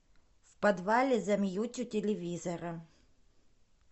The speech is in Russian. в подвале замьють у телевизора